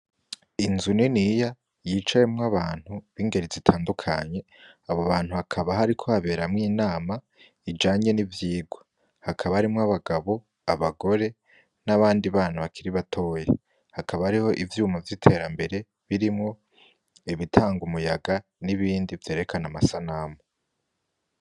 Inzu niniya yicayemwo abantu bingeri zitandukanye abo bantu hakaba hariko haberamwo inama ijanye ni vyirwa hakaba harimwo abagabo, abagore n'abandi bantu bakiri batoya hakaba hariho ivyuma vyitera mbere birimwo ibitanga umuyaga n'ibindi vyerekana amasanamu.